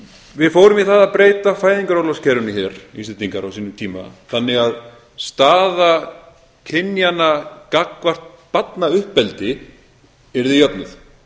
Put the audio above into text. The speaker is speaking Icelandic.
við fórum í það að breyta fæðingarorlofskerfinu hér íslendingar á sínum tíma þannig að staða kynjanna gagnvart barnauppeldi yrði jöfnuð